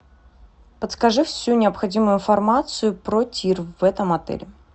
подскажи всю необходимую информацию про тир в этом отеле